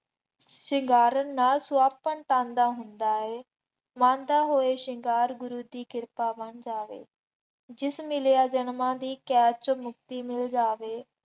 ਸ਼ਿੰਗਾਰਨ ਨਾਲ ਸੁਹੱਪਣ ਤਨ ਦਾ ਹੁੰਦਾ ਹੈ। ਮੰਨਦਾ ਹੋਏ ਸ਼ਿੰਗਾਰ ਗੁਰੂ ਦੀ ਕਿਰਪਾ ਬਣ ਜਾਵੇ, ਜਿਸ ਮਿਲਿਆ ਜਨਮਾਂ ਦੀ ਕੈਦ ਚੋਂ ਮੁਕਤੀ ਮਿਲ ਜਾਵੇ।